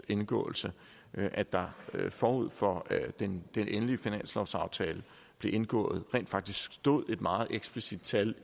indgåelse at der forud for at den endelige finanslovsaftale blev indgået rent faktisk stod et meget eksplicit tal